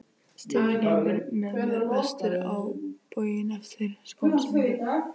Steindór gengur með mér vestur á bóginn eftir skólasetningu.